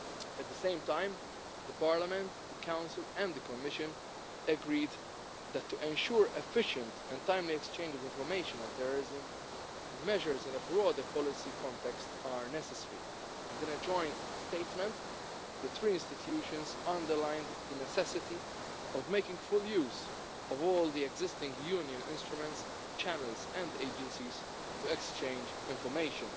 At the same time Parliament, the Council and the Commission agreed that to ensure efficient and timely exchange of information on terrorism, measures in a broader policy context are necessary. In a joint statement the three institutions underlined the necessity of making full use of all the existing Union instruments, channels and agencies to exchange information.